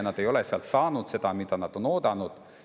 Nad ei ole sealt saanud seda, mida nad on oodanud.